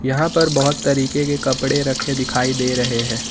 यहां पर बहोत तरीके के कपड़े रखे दिखाई दे रहे हैं।